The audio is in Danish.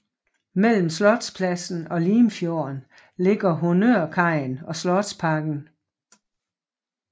Mellem Slotspladsen og Limfjorden ligger honnørkajen og Slotsparken